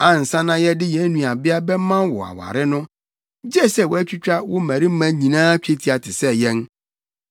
Ansa na yɛde yɛn nuabea bɛma wo aware no, gye sɛ woatwitwa wo mmarima nyinaa twetia te sɛ yɛn.